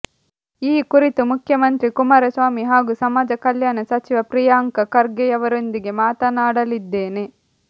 ಈ ಕುರಿತು ಮುಖ್ಯಮಂತ್ರಿ ಕುಮಾರ ಸ್ವಾಮಿ ಹಾಗೂ ಸಮಾಜ ಕಲ್ಯಾಣ ಸಚಿವ ಪ್ರಿಯಾಂಕ ಖರ್ಗೆಯವರೊಂದಿಗೆ ಮಾತನಾಡಲಿದ್ದೇನೆ